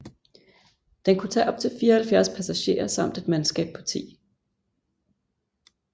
Den kunne tage op til 74 passagerer samt et mandskab på 10